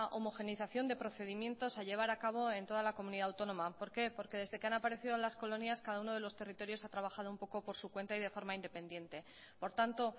homogeneización de procedimientos a llevar a cabo en toda la comunidad autónoma por qué porque desde que han aparecido las colonias cada uno de los territorios ha trabajado un poco por su cuenta y de forma independiente por tanto